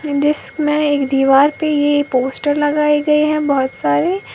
जिसमें एक दीवार पर ये पोस्टर लगाए गए हैं बहुत सारे।